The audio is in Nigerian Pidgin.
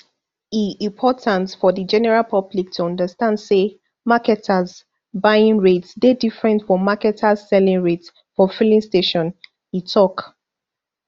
e important for di general public to understand say marketers buying rate dey different from marketers selling rate for filling stations e tok